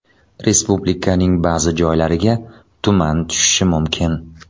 Respublikaning ba’zi joylariga tuman tushishi mumkin.